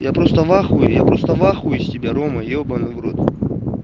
я просто вахуе я просто вахуе с тебя рома ебанный в рот